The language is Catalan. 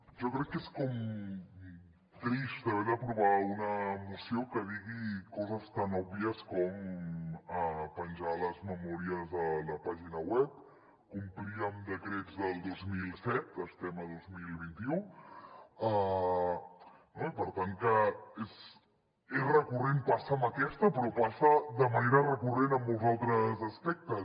jo crec que és com trist haver d’aprovar una moció que di·gui coses tan òbvies com penjar les memòries a la pàgina web complir amb decrets del dos mil set estem a dos mil vint u no i per tant que és recurrent passa amb aquesta però passa de manera recurrent en molts altres aspectes